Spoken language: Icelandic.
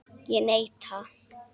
Ég neita.